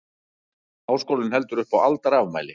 Háskólinn heldur upp á aldarafmæli